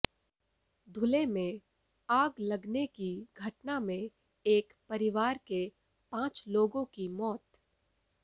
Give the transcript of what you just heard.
धुले में आग लगने की घटना में एक परिवार के पांच लोगों की मौत